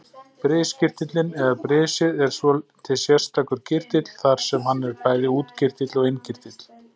Briskirtillinn eða brisið er svolítið sérstakur kirtill þar sem hann er bæði útkirtill og innkirtill.